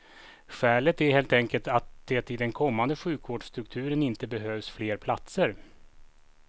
Skälet är helt enkelt att det i den kommande sjukvårdsstrukturen inte behövs fler platser.